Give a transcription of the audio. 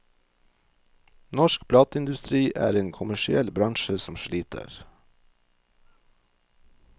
Norsk plateindustri er en kommersiell bransje som sliter.